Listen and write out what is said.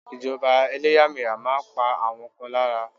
Ìjọba eléyàméyà máa n pa àwọn kan lára